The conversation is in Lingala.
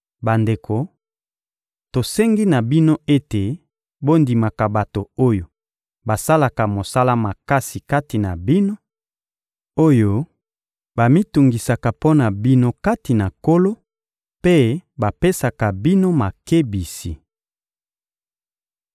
Bandeko, tosengi na bino ete bondimaka bato oyo basalaka mosala makasi kati na bino, oyo bamitungisaka mpo na bino kati na Nkolo mpe bapesaka bino makebisi.